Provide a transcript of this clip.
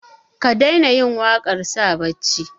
ka daina yin waƙar sa barci